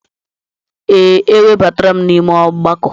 Ee, ewebatala m n'ime ọgbakọ.